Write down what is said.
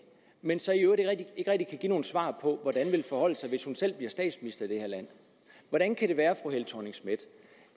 men så i øvrigt ikke rigtig give nogen svar på hvordan det vil forholde sig med hvis hun selv bliver statsminister i det her land hvordan kan det være